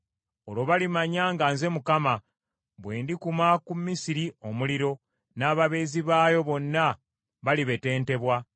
Olwo balimanya nga nze Mukama bwe ndikuma ku Misiri omuliro, n’ababeezi baayo bonna balibetentebwa.